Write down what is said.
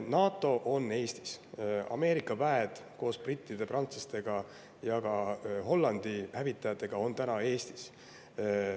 NATO on Eestis, Ameerika väed koos brittide ja prantslastega ning ka Hollandi hävitajatega on täna Eestis.